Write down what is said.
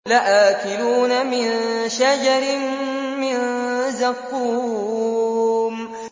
لَآكِلُونَ مِن شَجَرٍ مِّن زَقُّومٍ